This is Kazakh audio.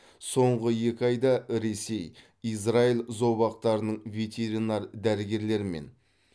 соңғы екі айда ресей израиль зообақтарының ветеринар дәрігерлерімен